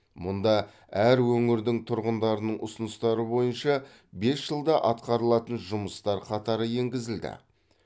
мұнда әр өңірдің тұрғындарының ұсыныстары бойынша бес жылда атқарылатын жұмыстар қатары енгізілді